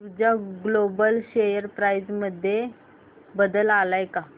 ऊर्जा global share price मध्ये बदल आलाय का